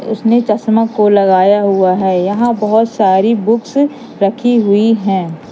उसने चश्मा को लगाया हुआ है यहां बहोत सारी बुक्स रखी हुई है।